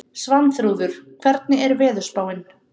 Svanþrúður, hvernig er veðurspáin?